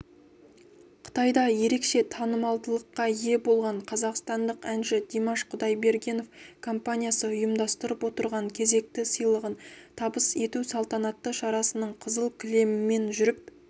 қытайда ерекше танымалдылыққа ие болған қазақстандық әнші димаш құдайбергенов компаниясы ұйымдастырып отырған кезекті сыйлығын табыс ету салтанатты шарасының қызыл кілемімен жүріп